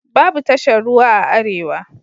Babu tashar ruwa a arewa.